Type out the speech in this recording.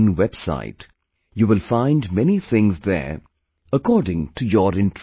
in website, you will find many things there according to your interest